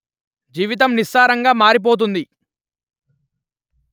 జీవితం నిస్సారంగా మారిపొతుంది